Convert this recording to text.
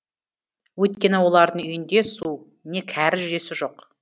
өйткені олардың үйінде су не кәріз жүйесі жоқ